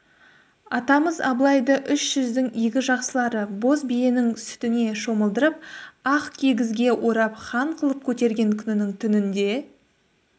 атамыз абылайды үш жүздің игі жақсылары боз биенің сүтіне шомылдырып ақ кигізге орап хан қылып көтерген күнінің түнінде